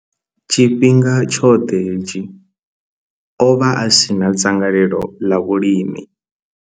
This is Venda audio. Tshifhinga tshoṱhe hetshi, o vha a si na dzangalelo ḽa vhulimi.